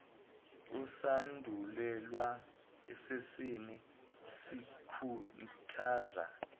esandulelweni sesine sikhuthaza